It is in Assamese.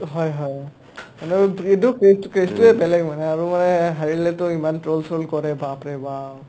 হয় হয় কেচটোয়ে বেলেগ মানে আৰু মানে হাৰিলেটো ইমান troll চৌল কৰে বাপৰে বাপ